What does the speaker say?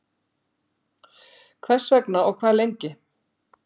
Hvers vegna og og hvað lengi?